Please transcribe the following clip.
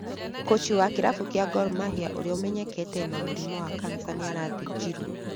Kũchi wa kĩrabu gĩa Gor Mahia urĩa ũmenyekete ena murimu wa kanica nĩarathĩnjirwo